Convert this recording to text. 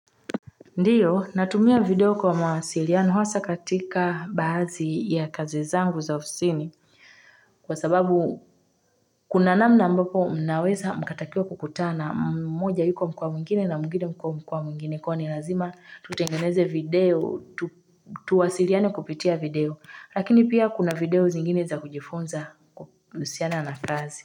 Ndiyo natumia video kwa mawasiliano huasa katika baazi ya kazi zangu za ofisini kwa sababu kuna namna ambapo mnaweza mkatakiwa kukutana mmoja yuko mkowa mwingine na mwingine mkowa mwingine kwa hiyo ni lazima tutengeneze video tu tuwasiliane kupitia video lakini pia kuna video zingine za kujifunza kusiana na kazi.